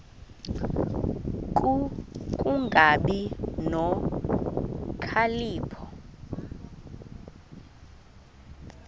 ku kungabi nokhalipho